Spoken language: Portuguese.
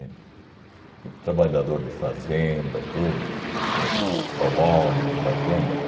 entende? O trabalhador de fazenda, tudo, entende? Os colonos de fazenda.